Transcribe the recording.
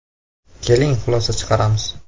Keling, xulosa chiqaramiz.